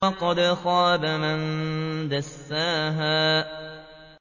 وَقَدْ خَابَ مَن دَسَّاهَا